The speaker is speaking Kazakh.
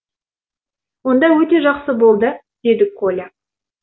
онда өте жақсы болды деді коля